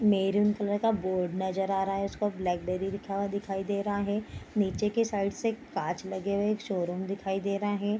Maroon colour का board नजर आ रहा है उस पे ब्लैक बेरी लिखा हुआ दिखाई दे रहा है नीचे के साइड से काँच लगे हुए शोरूम दिखाई दे रहे हैं।